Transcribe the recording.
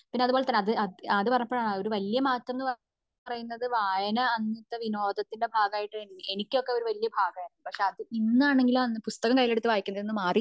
പിന്നെ അതുപോലെ തന്നെ അത് പറഞ്ഞപ്പോഴാണ് ഒരു വലിയ മാറ്റം എന്ന പറയുന്നത് വായന അന്ന് വിനോദത്തിന്റെ ബാഗയിറ്റ് എനിക്കൊക്കെ അത് വലിയൊരു ബാഗായിരുന്നു പക്ഷെ അത് ഇന്നാണെങ്കിൽ പുസ്തകം കയ്യിലെടുത്ത വായിക്കുന്നത് മാറി